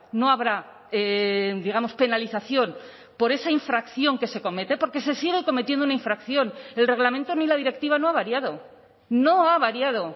no habrá digamos penalización por esa infracción que se comete porque se sigue cometiendo una infracción el reglamento ni la directiva no ha variado no ha variado